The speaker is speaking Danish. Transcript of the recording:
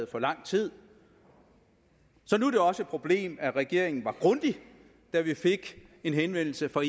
for lang tid så nu er det også et problem at regeringen var grundig da vi fik en henvendelse fra